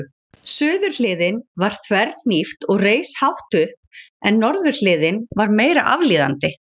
Suðurhliðin var þverhnípt og reis hátt upp en norðurhliðin var meira aflíðandi.